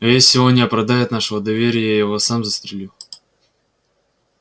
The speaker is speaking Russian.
а если он не оправдает нашего доверия я его сам застрелю